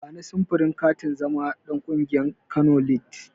Bani samfurin katin zama ɗan ƙungiyar Kano lids.